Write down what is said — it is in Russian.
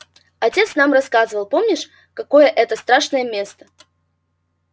отец нам рассказывал помнишь какое это страшное место